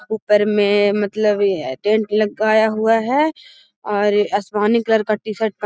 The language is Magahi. ऊपर में मतलब टेंट लगाया हुआ है और आसमानी कलर का टी-शर्ट --